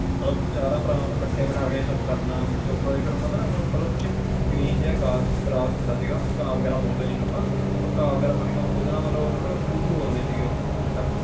ਫੇਰ ਚਾਰਾ ਭਰਾਵਾਂ ਨੂੰ ਕੱਠੇ ਬਿਠਾ ਕੇ ਸਬ ਕਰਨਾ ਦਾ ਹੁੰਦਾ ਨੀ ਉਹ green ਜ grass ਘਾਹ ਵਗੈਰਾ ਬੋਲਦੇ ਜਿਨੂੰ ਜਿਨੂੰ ਉਹ ਘਾਹ ਵਗੈਰਾ ਨੂੰ ਪਰਿਬਹੁ ਬੋਲਦੇ ਸੀਗੇ ਉਹ